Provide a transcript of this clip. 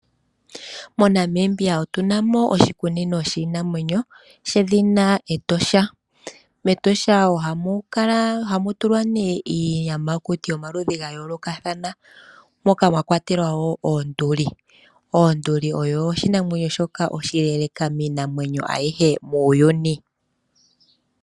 MoNamibia otuna mo oshikunino shiinamwenyo shedhina Etosha. MEtosha ohamu tulwa nee iiyamakuti yomaludhi ga yoolokathana moka mwa kwatelwa wo onduli. Onduli oyo oshinamwenyo shoka oshileeleka miinamwenyo ayihe muuyuni.